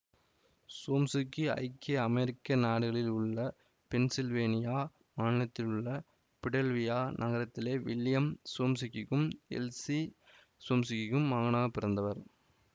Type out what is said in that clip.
சோம்சுக்கி ஐக்கிய அமெரிக்க நாடுகளில் உள்ள பென்சில்வேனியா மாநிலத்தில் உள்ள பிலடெல்வியா நகரத்திலே வில்லியம் சோம்சுக்கிக்கும் எல்சீ சோம்சுக்கிக்கும் மகனாக பிறந்தவர்